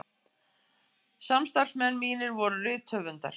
Samstarfsmenn mínir voru rithöfundarnir